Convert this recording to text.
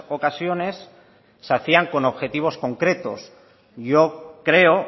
ocasiones se hacían con objetivos concretos yo creo